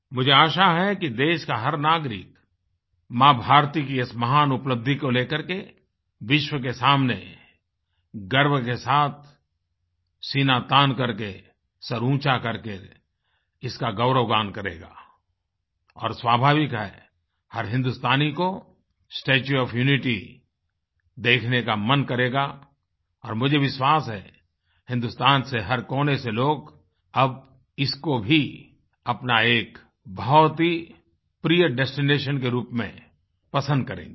मुझे आशा है कि देश का हर नागरिक माँभारती की इस महान उपलब्धि को लेकर के विश्व के सामने गर्व के साथ सीना तानकरके सर ऊँचा करके इसका गौरवगान करेगा और स्वाभाविक है हर हिन्दुस्तानी को स्टेच्यू ओएफ यूनिटी देखने का मन करेगा और मुझे विश्वास है हिन्दुस्तान से हर कोने से लोग अब इसको भी अपना एक बहुत ही प्रिय डेस्टिनेशन के रूप में पसंद करेंगे